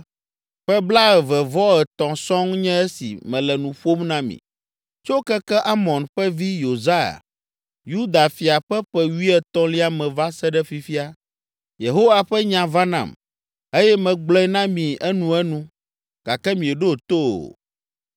Ƒe blaeve-vɔ-etɔ̃ sɔŋ nye esi mele nu ƒom na mi. Tso keke Amon ƒe vi Yosia, Yuda fia ƒe ƒe wuietɔ̃lia me va se ɖe fifia, Yehowa ƒe nya va nam, eye megblɔe na mi enuenu, gake mieɖo to o.